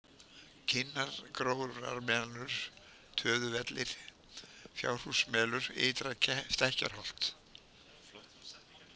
Kinnargrófarmelur, Töðuvellir, Fjárhúsmelur, Ytra-Stekkjarholt